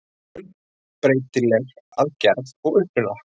Eiturefni eru afar fjölbreytileg að gerð og uppruna.